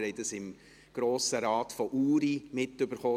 Wir haben es im Grossen Rat von Uri mitbekommen.